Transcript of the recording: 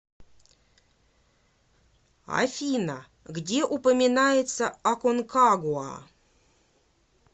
афина где упоминается аконкагуа